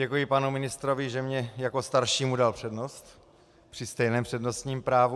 Děkuji panu ministrovi, že mně jako staršímu dal přednost při stejném přednostním právu.